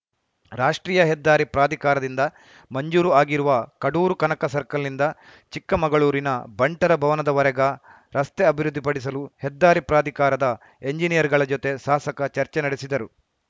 ರಾಷ್ಟ್ರೀಯ ಹೆದ್ದಾರಿ ಪ್ರಾಧಿಕಾರದಿಂದ ಮಂಜೂರು ಆಗಿರುವ ಕಡೂರು ಕನಕ ಸರ್ಕಲ್‌ನಿಂದ ಚಿಕ್ಕಮಗಳೂರಿನ ಬಂಟರ ಭವನದವರೆಗ ರಸ್ತೆ ಅಭಿವೃದ್ಧಿಪಡಿಸಲು ಹೆದ್ದಾರಿ ಪ್ರಾಧಿಕಾರದ ಎಂಜಿನಿಯರ್‌ಗಳ ಜೊತೆ ಸಾಸಕ ಚರ್ಚೆ ನಡೆಸಿದರು